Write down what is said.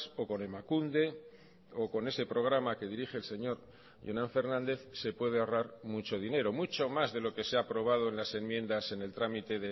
o con emakunde o con ese programa que dirige el señor jonan fernández se puede ahorrar mucho dinero mucho más de lo que se ha aprobado en las enmiendas en el trámite